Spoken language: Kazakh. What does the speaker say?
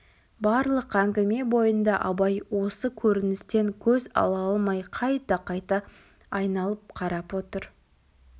барлық әңгіме бойында абай осы көріністен көз ала алмай қайта-қайта айналып қарап отыр